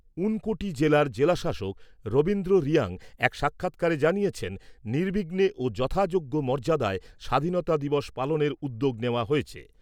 ঊনকোটি জেলার জেলাশাসক রবীন্দ্র রিয়াং এক সাক্ষাৎকারে জানিয়েছেন, নির্বিঘ্নে ও যথাযোগ্য মর্যাদায় স্বাধীনতা দিবস পালনের উদ্যোগ নেওয়া হয়েছে।